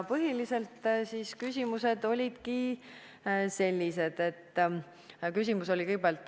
Põhilised küsimused olid sellised.